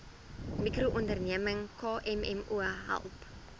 mikroonderneming kmmo help